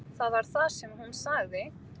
Það var það sem hún sagði.